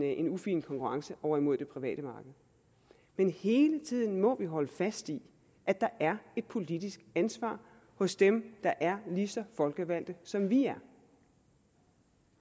en ufin konkurrence over imod det private marked men hele tiden må vi holde fast i at der er et politisk ansvar hos dem der er lige så folkevalgte som vi er